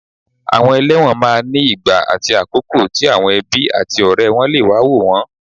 Àwọn ẹlẹ́wọ̀n máa ní ìgbà àti àkókò tí àwọn ẹbí àti ọ̀rẹ́ wọ́n lè wá wò wọ́n